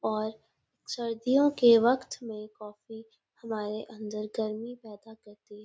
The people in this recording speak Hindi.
और सर्दियों के वक्त में कॉफ़ी